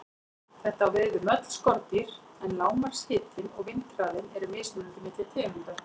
Þetta á við um öll skordýr, en lágmarkshitinn og vindhraðinn eru mismunandi milli tegunda.